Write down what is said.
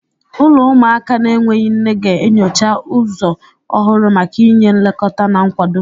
Ụlọ ụmụaka na-enweghị nne ga-enyocha ụzọ ọhụrụ maka inye nlekọta na nkwado.